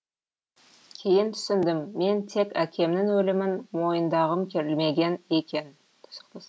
кейін түсіндім мен тек әкемнің өлімін мойындағым келмеген екен